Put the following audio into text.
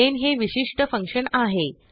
main हे विशिष्ट function आहे